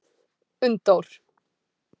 Unndór